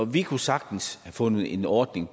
vi kunne sagtens have fundet en ordning